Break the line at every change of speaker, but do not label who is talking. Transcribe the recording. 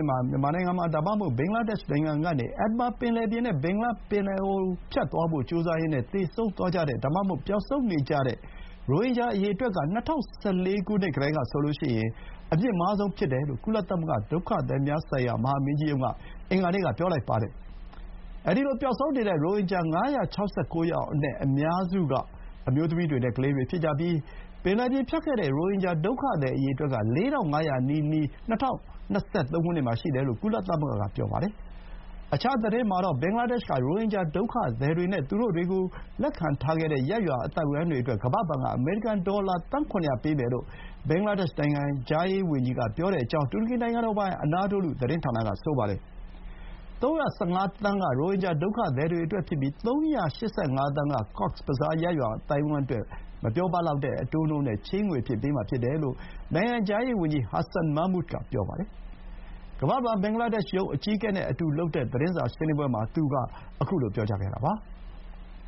ှစ်မှာ မြန်မာနိုင်ငံ ဒါမှမဟုတ် ဘင်္ဂလားဒေ့ရှ်နိုင်ငံကနေ အန်ဒမန်ပင်လယ်ပြင် နဲ့ ဘင်္ဂလားပင်လယ်အော်ကို ဖြတ်ထွက်ပြေးဖို့ ကြိုးစားရင်းနဲ့ သေဆုံးသွားတဲ့ ဒါမှမဟုတ် ပျောက်ဆုံးနေတဲ့ ရိုဟင်ဂျာအရေအတွက်က ၂၀၁၄ ကတည်းကဆိုရင် အမြင့်မားဆုံး ဖြစ်တယ်လို့ ကုလသမဂ္ဂ ဒုက္ခသည်များဆိုင်ရာ မဟာမင်းကြီးရုံးက အင်္ဂါနေ့က ပြောပါတယ်။ အဲဒီလို ပျော်ဆုံးနေတဲ့ရိုဟင်ဂျာ ၅၆၉ ယောက်အနက် အများစုက အမျိုးသမီးတွေနဲ့ ကလေးတွေဖြစ်ကြပြီး ပင်လယ်ပြင်ဖြတ်ခဲ့တဲ့ ရိုဟင်ဂျာဒုက္ခသည်အရေအတွက်က ၄,၅၀၀ နီးနီးရှိနေပြီလို့ ကုလသမဂ္ဂက ပြောပါတယ်။ အခြားသတင်းမှာတော့ ဘင်္ဂလားဒေ့ရှ်က ရိုဟင်ဂျာဒုက္ခသည်တွေနဲ့ သူတို့ကို လက်ခံထားတဲ့ ရပ်ရွာအသိုက်အဝန်းအတွက် ကမ္ဘာ့ဘဏ်က အမေရိကန် ဒေါ်လာသန်း ၇၀၀ ပေးမယ်လို့ ဘင်္ဂလားဒေ့ရှ် နိုင်ငံခြားရေးဝန်ကြီးကပြောကြောင်း တူရကီနိုင်ငံတော်ပိုင် အနာဒိုလု သတင်းဌာနက ဆိုပါတယ်။ ၃၁၅ သန်းက ရိုဟင်ဂျာဒုက္ခသည်တွေအတွက်ဖြစ်ပြီး ၃၈၅ သန်းက ကော့က်စ်ဘဇား ရပ်ရွာအသိုက်အဝန်းအတွက် မပြောပလောက်တဲ့ အတိုးနှုန်းနဲ့ချေးငွေအဖြစ် ပေးမှာဖြစ်တယ်လို့ နိုင်ငံခြားရေးဝန်ကြီး Hasan Mahmud က ပြောပါတယ်။ ကမ္ဘာ့ဘဏ် ဘင်္ဂလားဒေ့ရှ်ရုံး အကြီးအကဲနဲ့အတူလုပ်တဲ့ သတင်းစာရှင်းလင်းပွဲမှာ သူက ခုလို ပြောခဲ့တာပါ။